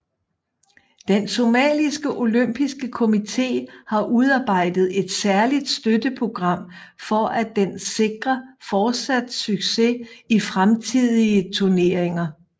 Den somaliske Olympiske Komité har udarbejdet et særligt støtteprogram for at den sikre fortsat succes i fremtidige turneringer